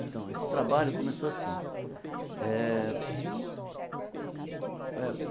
Então, esse trabalho começou assim. Eh eh